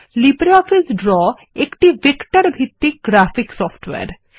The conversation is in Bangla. লিব্রিঅফিস ড্র একটি ভেক্টর ভিত্তিক গ্রাফিক্স সফটওয়্যার